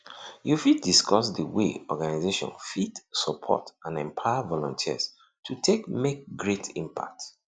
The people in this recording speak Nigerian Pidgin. you fit discuss the way organization fit support and empower volunteers to take make great impact